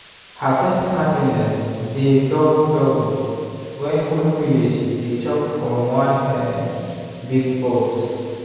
harvest happiness dey double double when whole village dey chop from one um big pot.